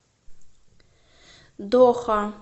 доха